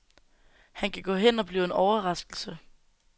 Han kan gå hen og blive en overraskelse.